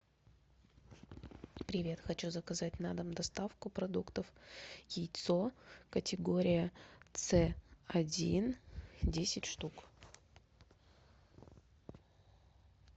привет хочу заказать на дом доставку продуктов яйцо категория цэ один десять штук